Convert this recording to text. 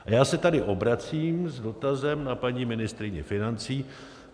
A já se tady obracím s dotazem na paní ministryni financí.